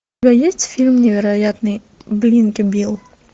у тебя есть фильм невероятный блинки билл